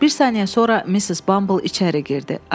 Bir saniyə sonra Missis Bumble içəri girdi.